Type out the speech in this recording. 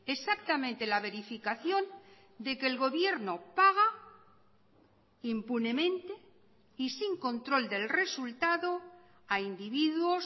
exactamente la verificación de que el gobierno paga impunemente y sin control del resultado a individuos